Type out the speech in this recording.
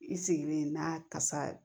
I sigilen n'a kasa